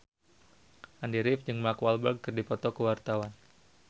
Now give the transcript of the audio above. Andy rif jeung Mark Walberg keur dipoto ku wartawan